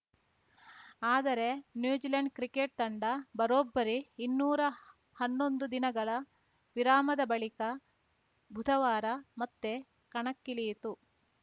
ಆದರೆ New Zealand cricket ತಂಡ ಬರೋಬ್ಬರಿ ಇನ್ನೂರಾ ಹನ್ನೊಂದು ದಿನಗಳ ವಿರಾಮದ ಬಳಿಕ ಬುಧವಾರ ಮತ್ತೆ ಕಣಕ್ಕಿಳಿಯಿತು